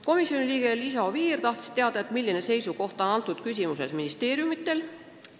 Komisjoni liige Liisa Oviir tahtis teada, mis seisukoht on selles küsimuses ministeeriumidel.